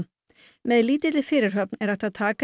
með lítilli fyrirhöfn er hægt að taka